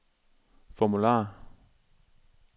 formular